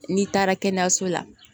N'i taara kɛnɛyaso la